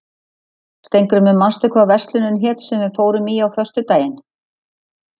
Steingrímur, manstu hvað verslunin hét sem við fórum í á föstudaginn?